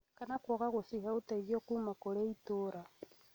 kana kwaga kũcihe ũteithio kuuma kũrĩ itũũra